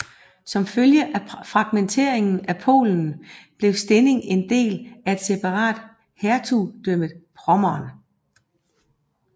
Som følge af fragmenteringen af Polen blev Stettin en del af et separat Hertugdømmet Pommern